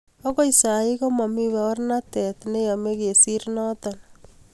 okoi sai komomii baurnatei neyomei kesir noto